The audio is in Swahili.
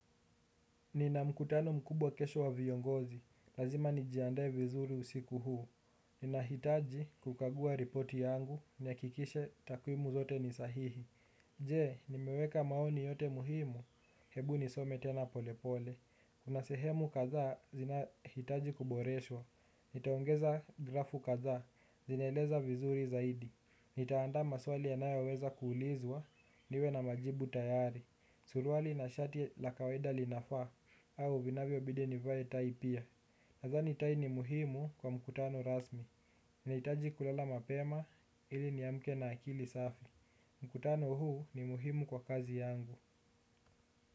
Nina mkutano mkubwa kesho wa viongozi, lazima nijiandae vizuri usiku huu. Nina hitaji kukagua ripoti yangu, ni hakikishe takuimu zote ni sahihi. Je, nimeweka maoni yote muhimu, hebu nisome tena polepole. Kuna sehemu kadha, zina hitaji kuboreshwa. Nitaongeza grafu kadha, zinaeleza vizuri zaidi. Nitaanda maswali yanayo weza kuulizwa, niwe na majibu tayari. Suruali na shati la kawaida linafa. Au vinavyo bidi nivae tai pia. Na dhani tai ni muhimu kwa mkutano rasmi. Nahitaji kulala mapema ili ni amke na akili safi. Mkutano huu ni muhimu kwa kazi yangu.